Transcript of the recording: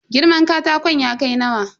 Girman katakon ya kai nawa?